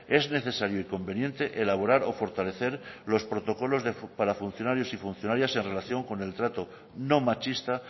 es necesario y conveniente elaborar o fortalecer los protocolos para funcionarios y funcionarias en relación con el trato no machista